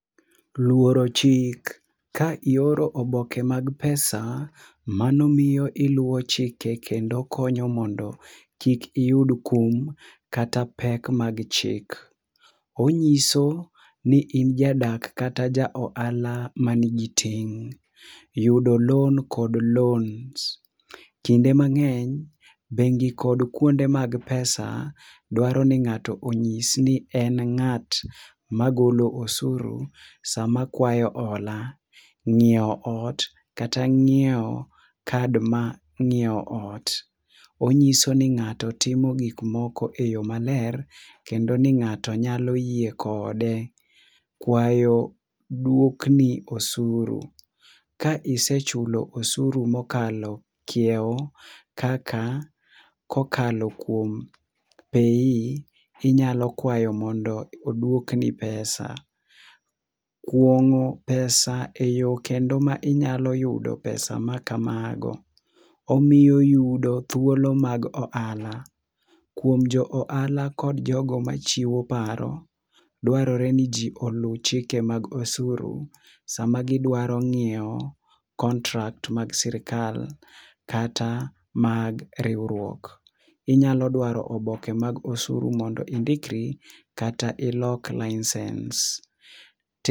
Luoro chik, ka ioro oboke mag pesa mano miyo iluwo chike kendo konyo mondo kik iyud kum kata pek mag chik. Onyiso ni in jadak kata jja ohala manigi ting. Yudo loan kod loans, kinde mangeny bengi kod kuonde mag pesa dwaro ni ngato onyis ni en ngat magolo osuru kinde sama okao hola. Ngiew ot kata ngiew kad mar nyiew ot onyiso ni ngato timo gik moko e yoo maler kendo ni ngato nyalo yie kode ,kwayo duok ni osuru. Kisechulo osuru mokalo kiew kaka kokalo kuom PAYE ,inyalo kwayo mondo oduok ni pesa. Kungo pesa e yoo kendo ma inyalo yudo pesa makamago, omiyo yudo thulo mag ohala kuom jo ohala kod joma chiwo paro, dwarore ni jii olu chike mag osuru sama gidwaro nyiew contract meg sirkal kata mag riwruok. Inyalo dwaro oboke mar osuru mondo indikrei kata ilok licence